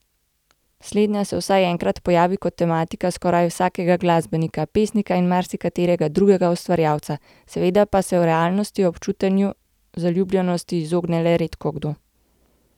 Slednja se vsaj enkrat pojavi kot tematika skoraj vsakega glasbenika, pesnika in marsikaterega drugega ustvarjalca, seveda pa se v realnosti občutenju zaljubljenosti izogne le redkokdo.